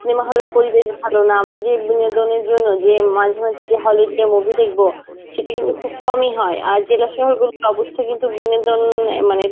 cinema hall এর পরিবেশ ভালো না আমরা যে বিনোদনের জন্যে যে মাঝে মাঝে যে hall এ গিয়ে movie দেখবো সেটা কিন্তু খুব কমই হয়. আর যেটা জেলাশহর গুলোর অবস্থা কিন্তু বিনোদন আ মানে